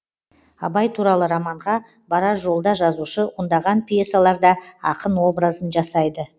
абай туралы романға барар жолда жазушы ондаған пьесаларда ақын образын жасайды